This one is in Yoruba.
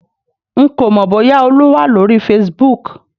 N kò mọ bóyá olú wà lórí Facebook